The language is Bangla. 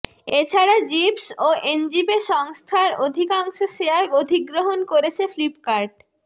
এছাড়া জিভস ও এনজিপে সংস্থার অধিকাংশ শেয়ার অধিগ্রহণ করেছে ফ্লিপকার্ট